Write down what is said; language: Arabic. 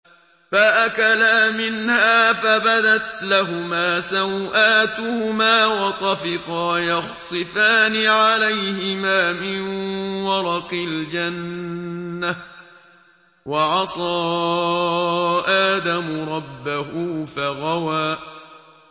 فَأَكَلَا مِنْهَا فَبَدَتْ لَهُمَا سَوْآتُهُمَا وَطَفِقَا يَخْصِفَانِ عَلَيْهِمَا مِن وَرَقِ الْجَنَّةِ ۚ وَعَصَىٰ آدَمُ رَبَّهُ فَغَوَىٰ